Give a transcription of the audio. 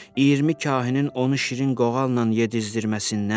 20 kahinin onu şirin qoğalla yedizdirməsindən.